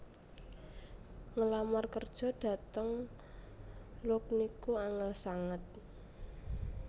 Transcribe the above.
Ngelamar kerjo dhateng Look niku angel sanget